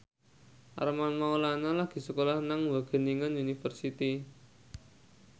Armand Maulana lagi sekolah nang Wageningen University